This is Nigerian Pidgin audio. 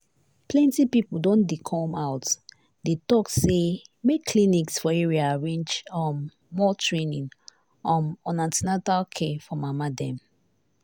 plenty people don dey come out dey talk say make clinics for area arrange um more training um on an ten atal care for mama dem.